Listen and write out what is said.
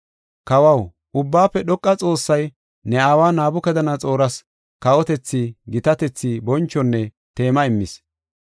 “Kawaw, Ubbaafe Dhoqa Xoossay ne aawa Nabukadanaxooras kawotethi, gitatethi, bonchonne teema immis.